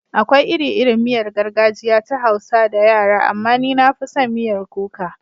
Akwai iri-irin miyar gargajiya ta Hausa da yara, amma ni na fi son miyar kuka.